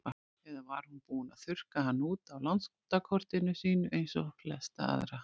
Eða var hún búin að þurrka hann út af landakortinu sínu eins og flesta aðra?